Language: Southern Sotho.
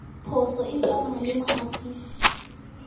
phoso e tsamaya le mohatisi